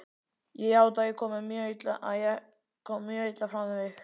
Ég játa að ég kom mjög illa fram við þig.